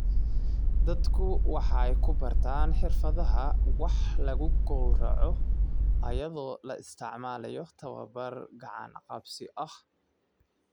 Dadku waxay ku bartaan xirfadaha wax lagu gawraco iyadoo la isticmaalayo tabobar gacan-qabsi ah.